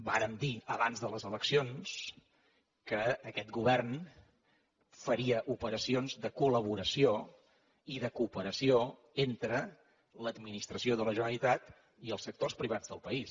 vàrem dir abans de les eleccions que aquest govern faria operacions de col·laboració i de cooperació entre l’administració de la generalitat i els sectors privats del país